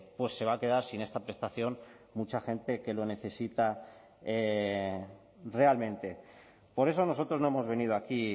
pues se va a quedar sin esta prestación mucha gente que lo necesita realmente por eso nosotros no hemos venido aquí